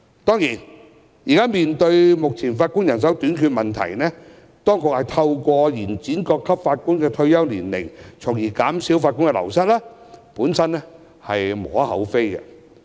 當然，面對現時法官人手短缺的問題，當局透過延展各級法院法官的退休年齡，從而減少法官人手流失，是無可厚非的。